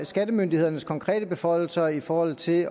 skattemyndighedernes konkrete beføjelser i forhold til